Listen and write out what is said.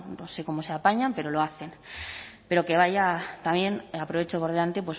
o no sé cómo se apañan pero lo hacen pero que vaya también aprovecho por delante